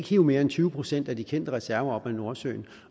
hive mere end tyve procent af de kendte reserver op af nordsøen